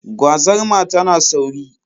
Gwazarma tana sauri.